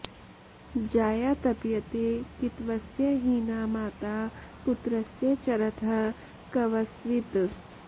जाया तप्यते कितवस्य हीना माता पुत्रस्य चरतः क्व स्वित्